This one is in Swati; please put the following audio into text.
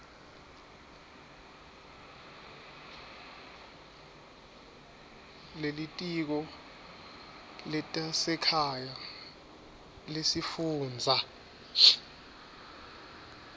lelitiko letasekhaya lesifundza